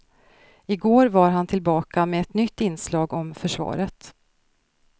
I går var han tillbaka med ett nytt inslag om försvaret.